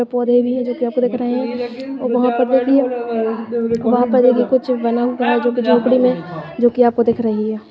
पेड़ - पौधे भी है जोकि आपको दिख रहे है वहाँ पर देखिए वहाँ पर देखिए कुछ बना हुआ है जोकि झोपड़ी में जोकि आपको दिख रही हैं।